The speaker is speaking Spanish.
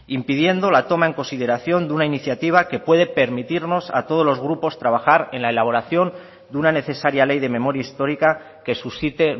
impidiendo la toma en consideración de una iniciativa que puede permitirnos a todos los grupos trabajar en la elaboración de una necesaria ley de memoria histórica que suscite